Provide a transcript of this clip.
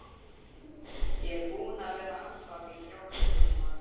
Ég er búinn að vera andvaka í þrjá klukkutíma.